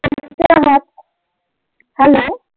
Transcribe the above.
Hello